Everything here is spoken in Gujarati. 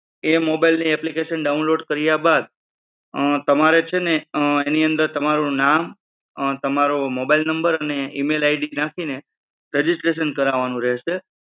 એ mobile ની application download કર્યા બાદ તમારે છે ને એની અંદર તમારું નામ, તમારો mobile number, અને email-id નાખીને registration કરાવવાનું રહેશે.